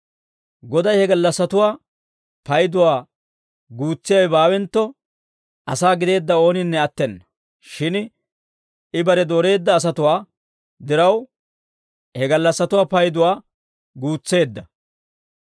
Goday he gallassatuwaa payduwaa guutsiyaawe baawentto, asaa gideedda ooninne attena; shin I bare dooreedda asatuwaa diraw, he gallassatuwaa payduwaa guutseedda.